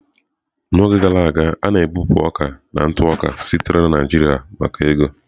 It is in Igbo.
N'oge gara aga, a na-ebupụ ọka na ntụ oka sitere na Naijiria maka ego.